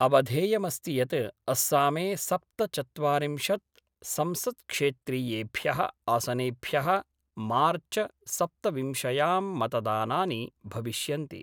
अवधेयमस्ति यत् अस्सामे सप्तचत्वारिंशत् संसत्क्षेत्रीयेभ्य: आसनेभ्य: मार्च् सप्तविंशयां मतदानानि भविष्यन्ति।